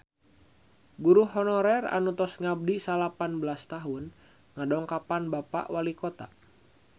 Guru honorer anu tos ngabdi salapan belas tahun ngadongkapan Bapak Walikota